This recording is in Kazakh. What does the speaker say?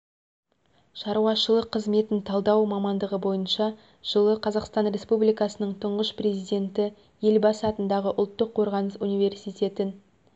шаруашылық қызметін талдау мамандығы бойынша жылы қазақстан республикасының тұңғыш президенті елбасы атындағы ұлттық қорғаныс университетін